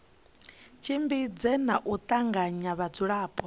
tshimbidze na u tanganya vhadzulapo